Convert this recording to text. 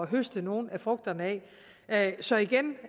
høste nogle af frugterne af så igen